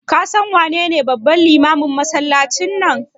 Ka san wanene babban limamin masallacin nan?